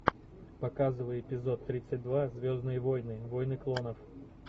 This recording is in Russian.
показывай эпизод тридцать два звездные войны войны клонов